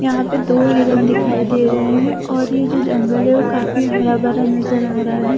यहां पे दो हिरण दिखाई दे रहे हैं और ये जो जंगल है वो काफी हरा भरा नजर आ रहा है।